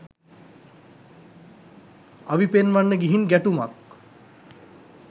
අවි පෙන්වන්න ගිහින් ගැටුමක්